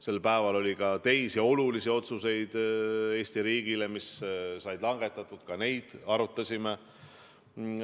Sel päeval oli ka teisi Eesti riigile olulisi otsuseid, mis said langetatud, ka neid arutasime.